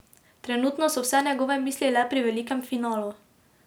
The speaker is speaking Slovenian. Trenutno so vse njegove misli le pri velikem finalu.